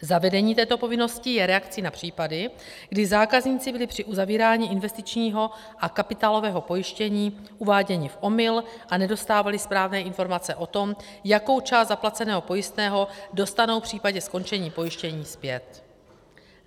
Zavedení této povinnosti je reakcí na případy, kdy zákazníci byli při uzavírání investičního a kapitálového pojištění uváděni v omyl a nedostávali správné informace o tom, jakou část zaplaceného pojistného dostanou v případě skončení pojištění zpět.